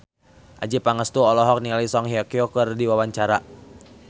Adjie Pangestu olohok ningali Song Hye Kyo keur diwawancara